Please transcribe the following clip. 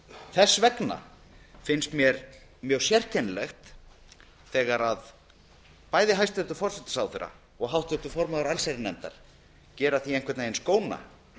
þess vegna finnst mér mjög sérkennilegt þegar bæði hæstvirtan forsætisráðherra og háttvirtur formaður allsherjarnefndar gera því einhvern veginn skóna